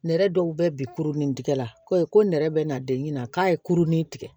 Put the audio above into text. Nɛrɛ dɔw bɛ bi kurunin tigɛ la koyi ko nɛrɛ bɛ na den ɲina k'a ye kurunin tigɛ